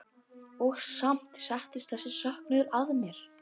Og samt settist þessi söknuður að mér.